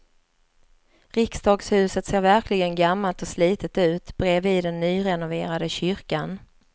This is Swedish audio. Riksdagshuset ser verkligen gammalt och slitet ut bredvid den nyrenoverade kyrkan.